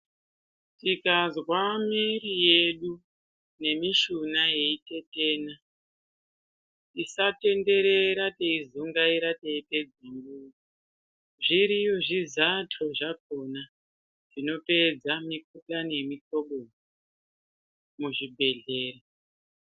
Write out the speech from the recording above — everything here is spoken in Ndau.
Tikazwa miiri yedu nemishuna yeyi tetena tisatenderera teizungaira teipedze nguwa zviriyo zvizando zvakona zvinopedza mikuhlani yemi hlobo uyu muzvi bhehlera